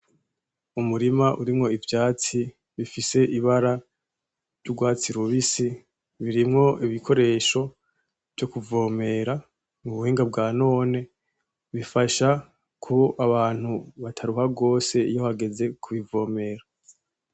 Umurima urimwo ivyatsi bifise ibara ry'ugwatsi rubisi birimwo ibikoresho vyo kuvomera mu buhinga bwa none bifasha ko abantu bataruha gose iyo hageze kubivomera.